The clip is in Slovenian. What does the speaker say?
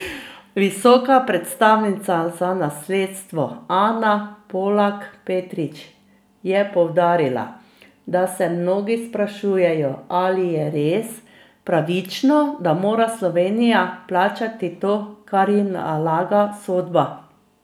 Visoka predstavnica za nasledstvo Ana Polak Petrič je poudarila, da se mnogi sprašujejo, ali je res pravično, da mora Slovenija plačati to, kar ji nalaga sodba.